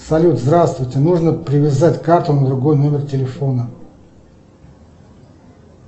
салют здравствуйте нужно привязать карту на другой номер телефона